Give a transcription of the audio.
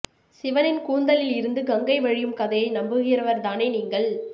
சிவனின் கூந்தலில் இருந்து கங்கை வழியும் கதையை நம்புகிறவர் தானே நீங்கள்